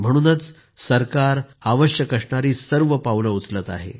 म्हणूनच सरकार आवश्यक असणारी सर्व पावले उचलत आहे